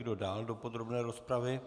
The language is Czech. Kdo dál do podrobné rozpravy?